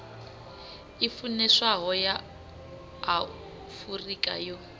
i funeswaho ya afurika yo